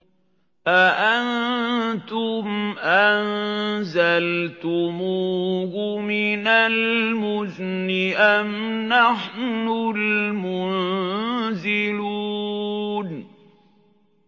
أَأَنتُمْ أَنزَلْتُمُوهُ مِنَ الْمُزْنِ أَمْ نَحْنُ الْمُنزِلُونَ